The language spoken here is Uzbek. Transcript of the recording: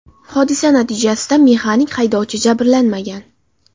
Hodisa natijasida mexanik haydovchi jabrlanmagan.